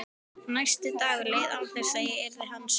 Næsti dagur leið án þess að ég yrði hans vör.